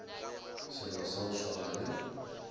selo sa go swana le